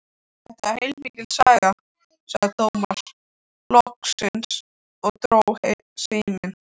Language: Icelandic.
Þetta var heilmikil saga, sagði Tómas loksins og dró seiminn.